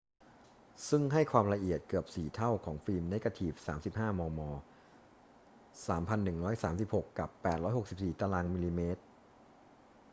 ซึ่งให้ความละเอียดเกือบสี่เท่าของฟิล์มเนกาทีฟ 35 มม. 3136 กับ 864 ตร.มม.